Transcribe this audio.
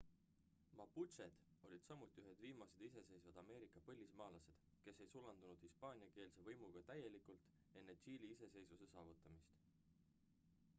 maputšed olid samuti ühed viimased iseseisvad ameerika põlismaalased kes ei sulandunud hispaaniakeelse võimuga täielikult enne tšiili iseseisvuse saavutamist